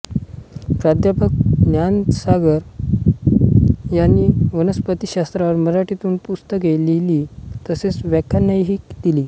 प्रा ज्ञानसागर यांनी वनस्पतिशास्त्रावर मराठीतून पुस्तके लिहिली तसेच व्याख्यानेही दिली